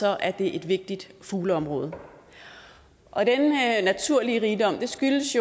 er det et vigtigt fugleområde og denne naturrigdom skyldes